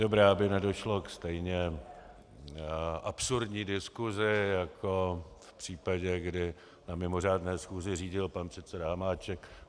Dobrá, aby nedošlo ke stejně absurdní diskusi jako v případě, kdy na mimořádné schůzi řídil pan předseda Hamáček.